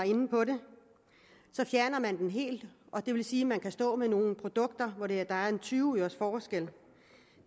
inde på det fjerner man den helt og det vil sige at man kan stå med nogle produkter hvor der er tyve øres forskel